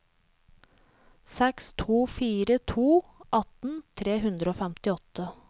seks to fire to atten tre hundre og femtiåtte